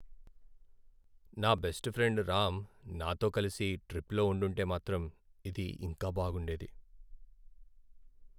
నా best friend Ram నాతో కలిసి ట్రిప్లో ఉండుంటే మాత్రం, ఇది ఇంకా బాగుండేది.